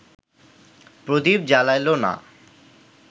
প্রদীপ জ্বালাইল না